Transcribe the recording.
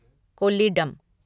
Kollidam